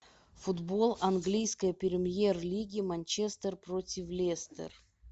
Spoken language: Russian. футбол английской премьер лиги манчестер против лестер